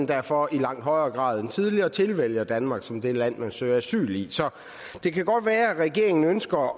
derfor i langt højere grad end tidligere tilvælger danmark som det land de søger asyl i det kan godt være regeringen ønsker